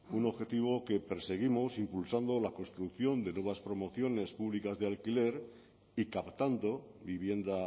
un objetivo que perseguimos impulsando la construcción de nuevas promociones públicas de alquiler y captando vivienda